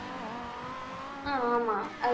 ஆஹ் ஆமா